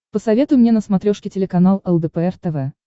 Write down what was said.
посоветуй мне на смотрешке телеканал лдпр тв